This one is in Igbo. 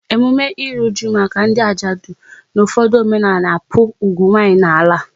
Emume ịrụ ụju maka ndị ajadu n'ufodu omenala n'akpu ugwu nwanyị n'ala